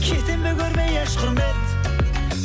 кетемін бе көрмей еш құрмет